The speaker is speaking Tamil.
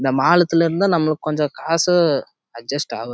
இந்த மாசத்துலே இருந்த நம்மக்கு கொஞ்சம் காசு அட்ஜஸ்ட் ஆகுது